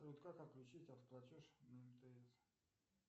как отключить автоплатеж на мтс